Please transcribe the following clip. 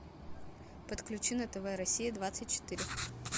подключи на тв россия двадцать четыре